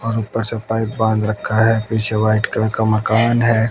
और ऊपर से पाइप बांध रखा है पीछे वाइट कलर का मकान है।